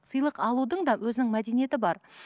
сыйлық алудың да өзінің мәдениеті бар